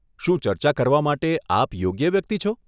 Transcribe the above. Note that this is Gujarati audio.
શું ચર્ચા કરવા માટે આપ યોગ્ય વ્યક્તિ છો?